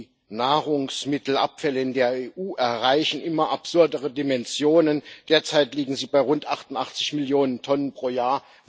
Die Nahrungsmittelabfälle in der EU erreichen immer absurdere Dimensionen, derzeit liegen sie bei rund 88 Millionen Tonnen pro Jahr.